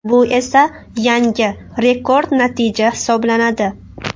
Bu esa yangi rekord natija hisoblanadi .